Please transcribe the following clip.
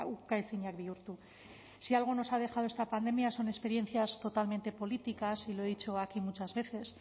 ukaezinak bihurtu si algo nos ha dejado esta pandemia son experiencias totalmente políticas y lo he dicho aquí muchas veces